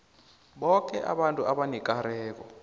boke abantu abanekareko